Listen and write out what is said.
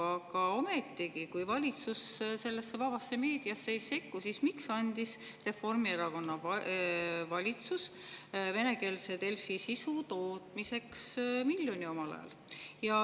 Aga ometigi, kui valitsus vabasse meediasse ei sekku, siis miks andis Reformierakonna valitsus venekeelse Delfi sisu tootmiseks omal ajal miljoni?